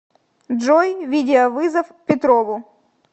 джой видеовызов петрову